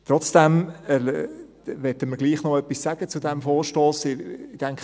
Trotzdem möchten wir doch noch etwas zu diesem Vorstoss sagen.